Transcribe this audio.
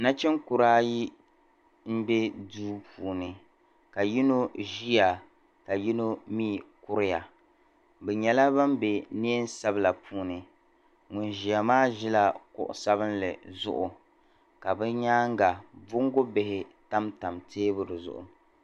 Nachin'kura ayi m bɛ duu puuni ka yino ʒiya ka yino mi kuriya bɛ nyɛla ban bɛ neei sabila puuni ŋuni ʒiya maa ʒila kuɣi sabinli zuɣu ka bɛ nyaaŋa bongubihi tam tam teebuli zuɣu.